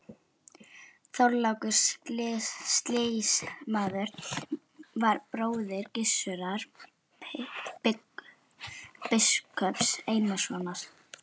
Þorlákur sýslumaður var bróðir Gissurar biskups Einarssonar.